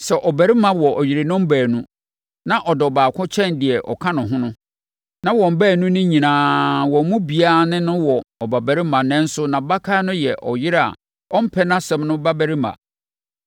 Sɛ ɔbarima wɔ yerenom baanu na ɔdɔ ɔbaako kyɛn deɛ ɔka ho no, na wɔn baanu no nyinaa, wɔn mu biara ne no wɔ ɔbabarima nanso nʼabakan no yɛ ɔyere a ɔmpɛ nʼasɛm no babarima,